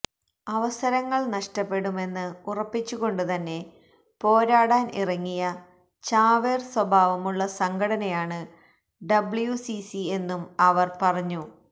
അവസരങ്ങള് നഷ്ടപ്പെടുമെന്ന് ഉറപ്പിച്ചുകൊണ്ടുതന്നെ പോരാടാന് ഇറങ്ങിയ ചാവേര് സ്വഭാവമുള്ള സംഘടനയാണ് ഡബ്ല്യുസിസി എന്നും അവര് പറഞ്ഞു